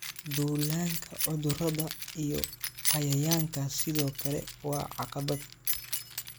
Duullaanka cudurrada iyo cayayaanka sidoo kale waa caqabad.